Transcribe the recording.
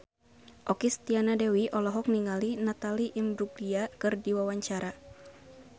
Okky Setiana Dewi olohok ningali Natalie Imbruglia keur diwawancara